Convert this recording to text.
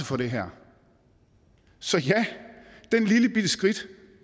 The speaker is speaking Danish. for det her så ja det her lillebitte skridt